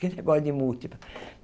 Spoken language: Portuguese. Que negócio de múltiplo?